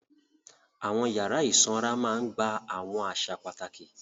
Àwọn yàrá ìsanra máa ń gba àwọn àṣà pàtàkì.